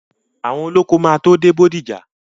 Àwọn olóko máa tó dé Bódìjà.